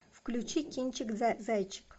включи кинчик зайчик